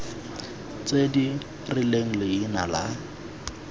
tse di rileng leina la